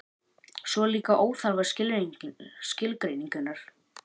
svo eru líka óþarfar skilgreiningar